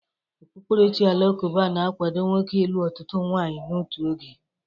Okpukperechi Alakụba na-akwado nwoke ịlụ ọtụtụ nwaanyị n'otu oge.